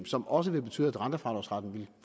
som også vil betyde at rentefradragsretten vil